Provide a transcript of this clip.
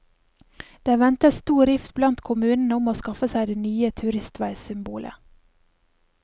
Det ventes stor rift blant kommunene om å skaffe seg det nye turistveisymbolet.